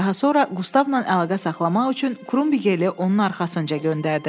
Daha sonra Qustavla əlaqə saxlamaq üçün Krumgerli onun arxasınca göndərdi.